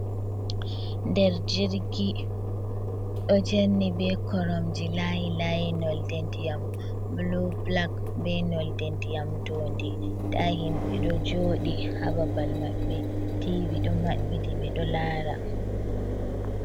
Der jirgi, Ɗo jerni be koromje layi layi noldendiam bulu bulak, be noldendiam dondi. nda himbe ɗo joɗi hababal maɓbɓe, tivi do maɓɓiti be ɗo lara.